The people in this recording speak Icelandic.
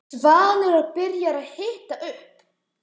Svanur var byrjaður að hita upp.